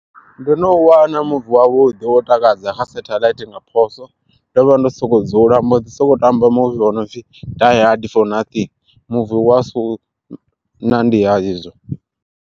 Ndo no u wana muvi wavhuḓi wo takadza kha setheḽaithi nga phoso, ndo vha ndo soko dzula ha mbo ḓi sokou tamba muvi wo no pfi Die Hard For Nothing muvi asi wa u nandiha izwo.